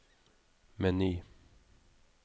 meny